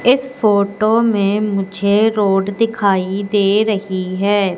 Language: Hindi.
इस फोटो में मुझे रोड दिखाई दे रही है।